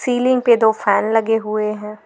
Ceiling पे दो fan लगे हुए हैं।